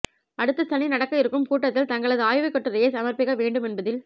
அடுத்த சனி நடக்க இருக்கும் கூட்டத்தில் தங்களது ஆய்வுக்கட்டுரையை சமர்பிக்க வேண்டுமேன்பதில்